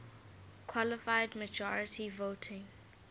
qualified majority voting